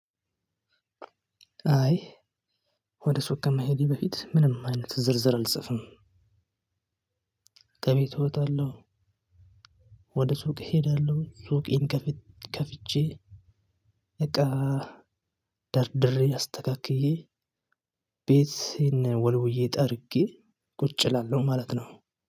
አይ ወደ ሱቅ ከመሄዴ በፊት ምንም አይነት ዝርዝር አልጽፍም። ከቤት እወጣለሁ። ወደ ሱቅ እሄዳለሁ ሱቄን ከፍቼ እቃ ደርድሬ አስተካክዬ ቤት ይሄን ወልውዬ ጠርጌ ቁጭ እላለሁ ማለት ነው።